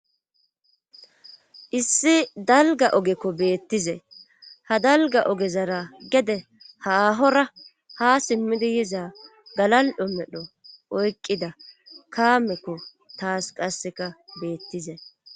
issi dalga ogekko beettize ha dalga ogezara gede haahora ha simmidi yiza galal7ho medho oykqida kaamekko taas qasseka beettize